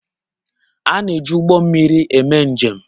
A na eji Ụgbọ mmiri eme njem.